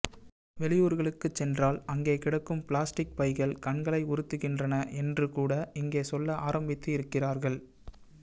வெளியூர்களுக்குச் சென்றால் அங்கே கிடக்கும் பிளாஸ்டிக் பைகள் கண்களை உறுத்துகின்றன என்றுகூட இங்கே சொல்ல ஆரம்பித்திருக்கிறார்கள்